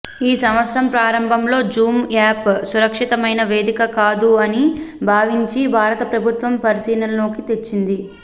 ఈ సంవత్సరం ప్రారంభంలో జూమ్ యాప్ సురక్షితమైన వేదిక కాదు అని భావించి భారత ప్రభుత్వం పరిశీలనలోకి తేచ్చింది